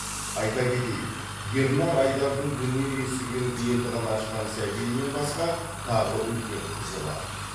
айта кетейік ернар айдардың дүние есігін енді ғана ашқан сәбиінен басқа тағы үлкен қызы бар